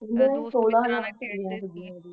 ਸੋਲਾਂ, ਖੇਡ ਦੇ ਸੀ।